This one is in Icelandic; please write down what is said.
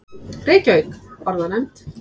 Reykjavík: Orðanefnd.